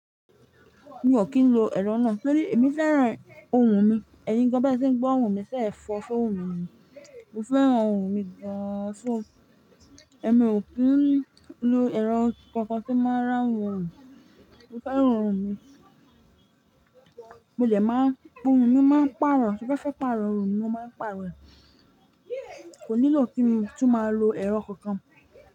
Mi ò kí ń lo ẹ̀rọ náà, torí èmi fẹ́ràn ohùn mi. Ẹyin gan be se ń gbọ́ ohùn mi ṣẹ́ fọ́fun ohùn mi ni. Mo fẹ́ran ohùn mi gan, so ẹmi ò kí ń lo ẹ̀rọ kankan tí máa rán ohùn mi. Mo fẹ́ran ohùn mi, mo dẹ̀ máa, ohùn mi máa ń pàrọ̀, tí mo fẹ́ pàrọ̀ ohùn mi mo máa ń pàrọ̀ rẹ̀. Kò nílò kí n tún máa lo ẹ̀rọ kankan.